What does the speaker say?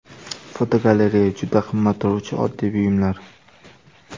Fotogalereya: Juda qimmat turuvchi oddiy buyumlar.